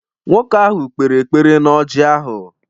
Nwoke ahụ kpere ekpere na ọrji ahụ